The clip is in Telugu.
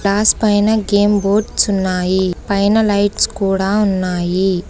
గ్లాస్ పైన గేమ్ బోర్డ్స్ ఉన్నాయి పైన లైట్స్ కూడా ఉన్నాయి.